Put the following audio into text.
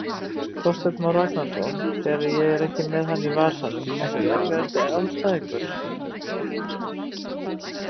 Þorsteinn Már Ragnarsson þegar ég er ekki með hann í vasanum Ekki erfiðasti andstæðingur?